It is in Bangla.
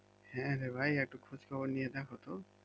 হ্যাঁ রে ভাই একটু খোঁজ খবর নিয়ে দেখ তো